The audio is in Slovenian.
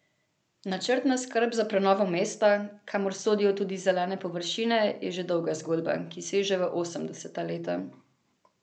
Načrtna skrb za prenovo mesta, kamor sodijo tudi zelene površine, je že dolga zgodba, ki seže v osemdeseta leta.